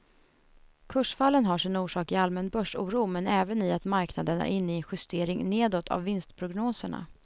Kursfallen har sin orsak i allmän börsoro men även i att marknaden är inne i en justering nedåt av vinstprognoserna.